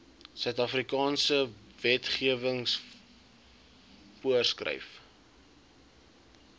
suidafrikaanse wetgewing voorgeskryf